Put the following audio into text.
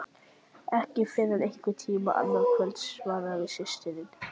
Ekki fyrr en einhvern tíma annað kvöld, svaraði systirin.